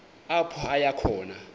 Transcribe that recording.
apho aya khona